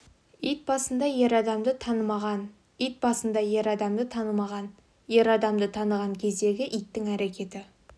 ит басында ер адамды танымаған ит басында ер адамды танымаған ер адамды таныған кездегі иттің әрекеті